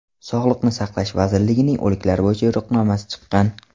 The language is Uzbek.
Sog‘liqni saqlash vazirligining o‘liklar bo‘yicha yo‘riqnomasi chiqqan.